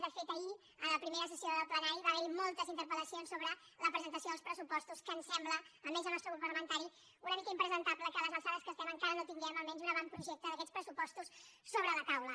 de fet ahir en la primera sessió del plenari va haver hi moltes interpel·lacions sobre la presentació dels pressupostos que ens sembla almenys al nostre grup parlamentari una mica impresentable que a les alçades que estem encara no tinguem almenys un avantprojecte d’aquests pressupostos sobre la taula